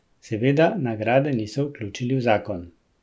Seveda, nagrade niso vključili v zakon.